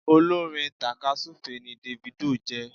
Olórin takasufe ni Davido jé